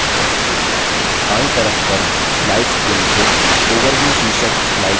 बायीं तरफ पर slides pane से overview शीर्षक slides चुनें